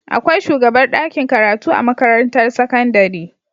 Akwai shugabar dakin karatu a makarantar sakandari